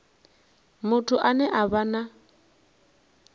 muthu ane a vha na